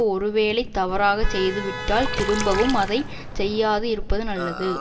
ஒருவேளை தவறாகச் செய்துவிட்டால் திரும்பவும் அதை செய்யாது இருப்பது நல்லது